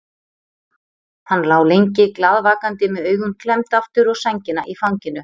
Hann lá lengi glaðvakandi með augun klemmd aftur og sængina í fanginu.